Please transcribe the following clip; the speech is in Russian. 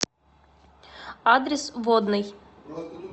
адрес водный